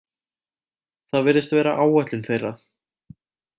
Það virðist vera áætlun þeirra